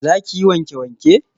Za ki yi wanke-wanke?